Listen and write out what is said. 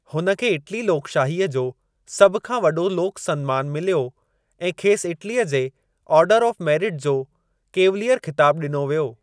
हुन खे इटली लोकशाहीअ जो सभ खां वॾो लोकु सन्मान मिलियो ऐं खेसि इटलीअ जे ऑर्डर ऑफ मेरिट जो 'कैवलियरु ख़िताबु ॾिनो वियो।